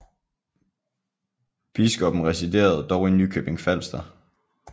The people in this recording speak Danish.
Biskoppen residerede dog i Nykøbing Falster